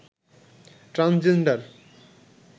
transgender